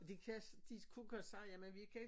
Det kan de kunne godt sige jamen vi kan ikke